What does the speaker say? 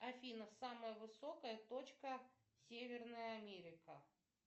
афина самая высокая точка северная америка